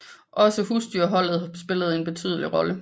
Også husdyrholdet spillede en betydelig rolle